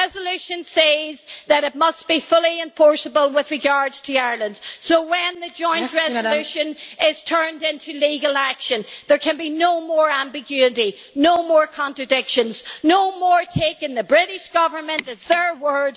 The resolution says that it must be fully enforceable with regard to Ireland, so when the joint resolution is turned into legal action there can be no more ambiguity, no more contradictions, no more taking the British Government at their word.